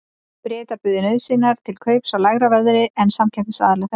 Bretar buðu nauðsynjar til kaups á lægra verði en samkeppnisaðilar þeirra.